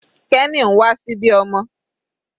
Kenny ń wà síbí ọmọ.